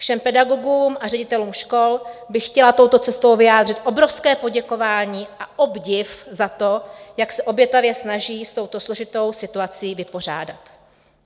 Všem pedagogům a ředitelům škol bych chtěla touto cestou vyjádřit obrovské poděkování a obdiv za to, jak se obětavě snaží s touto složitou situací vypořádat.